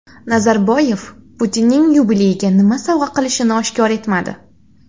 Nazarboyev Putinning yubileyiga nima sovg‘a qilishini oshkor etmadi.